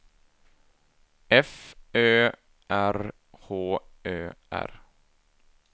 F Ö R H Ö R